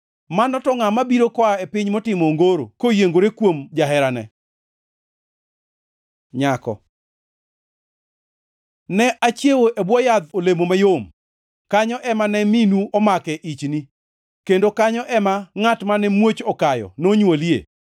Mano to ngʼa mabiro koa e piny motimo ongoro koyiengore kuom jaherane? Nyako Ne achiewe e bwo yadh olemo mayom; kanyo ema ne minu omake ichni, kendo kanyo ema ngʼat mane muoch okayo nonywolie.